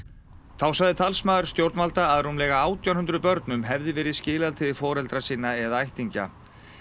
þá sagði talsmaður stjórnarinnar að rúmlega átján hundruð börnum hefði verið skilað til foreldra sinna eða ættingja